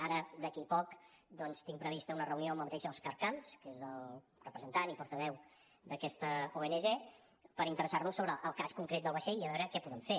ara d’aquí poc doncs tinc prevista una reunió amb el mateix òscar camps que és el representant i portaveu d’aquesta ong per interessar nos sobre el cas concret del vaixell i a veure què podem fer